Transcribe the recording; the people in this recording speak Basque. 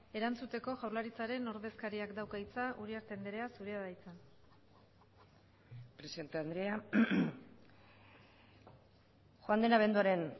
erantzuteko jaurlaritzaren ordezkariak dauka hitza uriarte andrea zurea da hitza presidente andrea joan den abenduaren